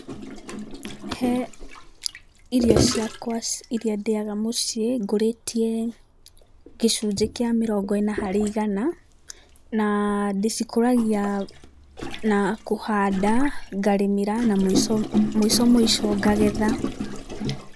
He irio ciakwa iria ndĩaga mũciĩ, ngũrĩtie gĩcunjĩ kĩa mĩrongo ĩna harĩ igana, na ndĩcikũragia na kũhanda, ngarĩmĩra na mũico mũico ngagetha.